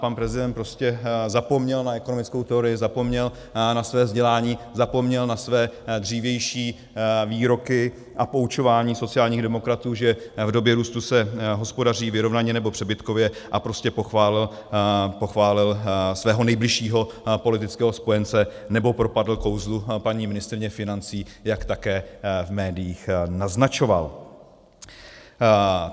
Pan prezident prostě zapomněl na ekonomickou teorii, zapomněl na své vzdělání, zapomněl na své dřívější výroky a poučování sociálních demokratů, že v době růstu se hospodaří vyrovnaně nebo přebytkově, a prostě pochválil svého nejbližšího politického spojence, nebo propadl kouzlu paní ministryně financí, jak také v médiích naznačoval.